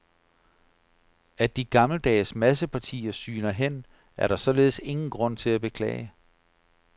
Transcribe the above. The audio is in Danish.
At de gammeldags massepartier sygner hen, er der således ingen grund til at beklage.